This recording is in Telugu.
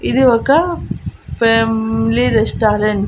ఇది ఒక ఫ్యామిలీ రెస్టారెంట్ .